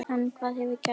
En hvað hefur gerst?